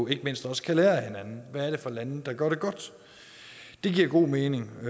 ikke mindst også kan lære af hinanden hvad er det for nogle lande der gør det godt det giver god mening og